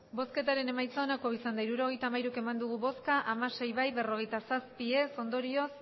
hirurogeita hamairu eman dugu bozka hamasei bai berrogeita zazpi ez ondorioz